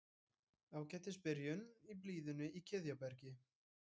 Ágætis byrjun í blíðunni í Kiðjabergi